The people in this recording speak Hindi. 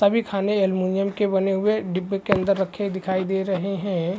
सभी खाने एल्युमीनियम के बने हुए डिब्बे के अंदर दिखाई दे रहे हैं।